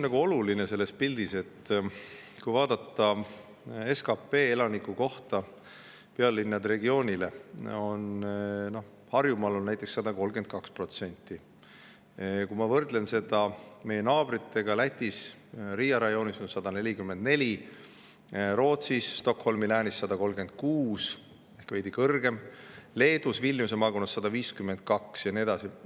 Oluline selles pildis on see, et kui vaadata SKP‑d elaniku kohta, siis pealinnaregioonis, Harjumaal, on see näiteks 132%, ja kui ma võrdlen seda meie naabrite olukorraga, siis näen, et Lätis Riia rajoonis on see 144%, Rootsis Stockholmi läänis 136% ehk veidi kõrgem, Leedus Vilniuse maakonnas 152% ja nii edasi.